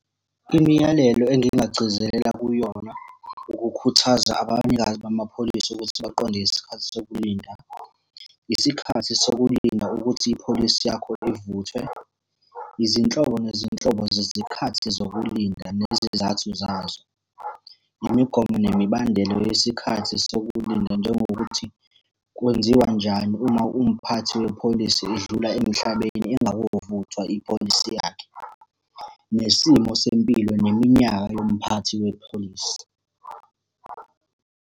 Imiyalelo engingagcizelela kuyona ukukhuthaza abanikazi bamapholisi ukuthi baqonde isikhathi sokulinda. Isikhathi sokulinda ukuthi ipholisi yakho ivuthwe, izinhlobo nezinhlobo zezikhathi zokulinda nezizathu zazo. Imigomo nemibandelo yesikhathi sokulinda njengokuthi, kwenziwe njani uma umphathi wepholisi edlula emhlabeni ingakovuthwa ipholisi yakhe. Nesimo sempilo neminyaka yomphathi wepholisi.